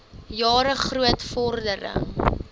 jare groot vordering